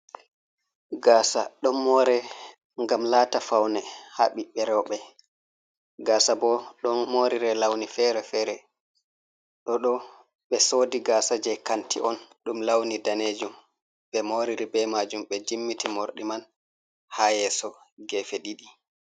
Gasa don more gam lata faune ha biɓbe rewbe ,gasa bo don morire launi fere fere, da do be sodi gasa je kanti on dum launi danejum be moriri be majum be jimmiti mordi man ha yeso gefe didi.